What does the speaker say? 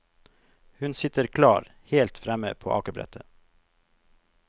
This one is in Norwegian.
Hun sitter klar, helt fremme på akebrettet.